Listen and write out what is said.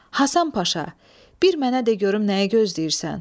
Həsən Paşa, bir mənə de görüm nəyi gözləyirsən.